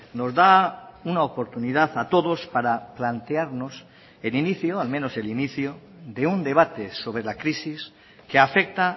nos da una oportunidad a todos para plantearnos el inicio al menos el inicio de un debate sobre la crisis que afecta